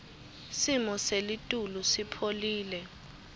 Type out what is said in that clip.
simo selitulu sipholile